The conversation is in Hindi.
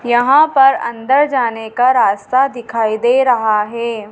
यहां पर अंदर जाने का रास्ता दिखाई दे रहा है।